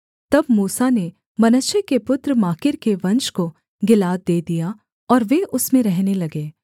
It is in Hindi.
तब मूसा ने मनश्शे के पुत्र माकीर के वंश को गिलाद दे दिया और वे उसमें रहने लगे